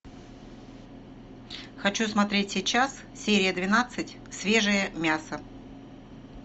хочу смотреть сейчас серия двенадцать свежее мясо